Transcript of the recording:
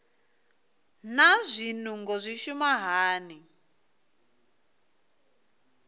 naa zwinungo zwi shuma hani